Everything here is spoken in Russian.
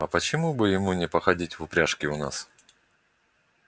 а почему бы ему не походить в упряжке и у нас